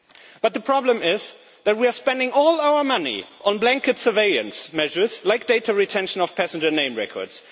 But the problem is that we are spending all our money on blanket surveillance measures like data retention of passenger name records.